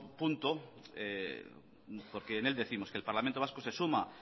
punto porque en él décimos que el parlamento vasco se suma